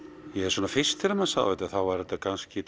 svona fyrst þegar maður sá þetta þá var þetta kannski